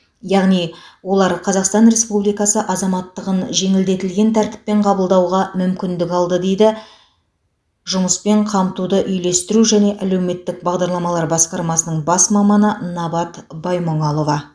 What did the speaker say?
яғни олар қазақстан республикасы азаматтығын жеңілдетілген тәртіппен қабылдауға мүмкіндік алды дейді жұмыспен қамтуды үйлестіру және әлеуметтік бағдарламалар басқармасының бас маманы набат баймұңалова